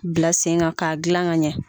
bila sen kan k'a gilan ka ɲɛ.